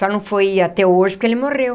Só não foi até hoje, porque ele morreu.